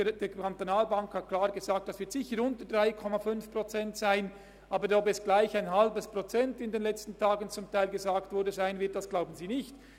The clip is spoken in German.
Die BEKB hat gesagt, dass es sicher unter 3,5 Prozent sein wird, aber ob es gleich 0,5 Prozent sein werden, wie in den letzten Tagen gesagt wurde, glaubt sie nicht.